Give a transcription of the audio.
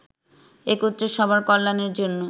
একত্রে সবার কল্যাণের জন্য